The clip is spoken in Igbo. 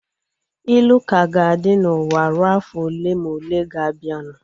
Ilu ka ga-adị n'ụwa rue afọ ole ma ole ga-abianu